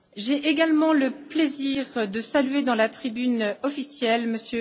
J'ai également le plaisir de saluer, dans la tribune officielle, M.